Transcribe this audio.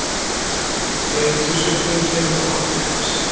Þreytusvipur kemur á andlit hans.